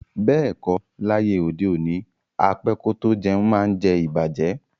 Beeko, laye ode oni, á pẹ kò tó jẹ̀un maá ǹ jẹ̀ ìbàjẹ́.